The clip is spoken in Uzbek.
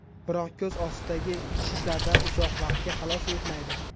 Biroq ko‘z ostidagi shishlardan uzoq vaqtga xalos etmaydi.